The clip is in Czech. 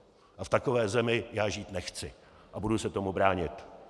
A v takové zemi já žít nechci a budu se tomu bránit.